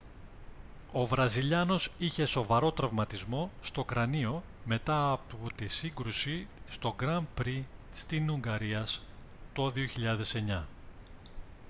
ο βραζιλιάνος είχε σοβαρό τραυματισμό στο κρανίο μετά από τη σύγκρουση στο γκραν πρι στην ουγγαρίας το 2009